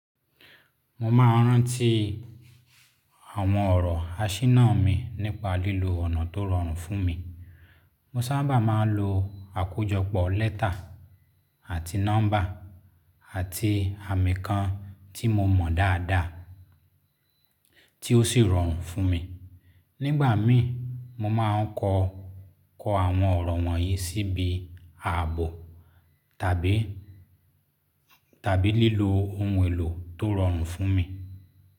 Mo máa ń ráńti àwọn ọ̀rọ̀ aṣínà mi nípa lílo ọ̀nà tó rọrùn fún mi. Mo sábà máa ń lo àkójọpọ̀ lẹ́tà àti nọ́ḿbà àti àmì kan tí mo mọ̀ dáadáa, tí ó sì rọrùn fún mi. Nígbà mìí, mo máa ń kọ, ko àwọn ọ̀rọ̀ wọ̀nyí síbí aàbo tabi tàbí lílo ohun èlò tó rọrùn fún mi.